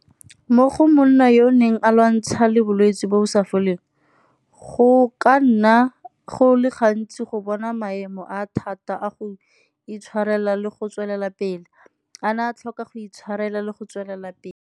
Mo go monna yo o neng a lwantsha le bolwetse bo bo sa foleng, go ka nna go le gantsi go bona maemo a a thata a go itshwarela le go tswelela pele, a na a tlhoka go itshwarela le go tswelela pele.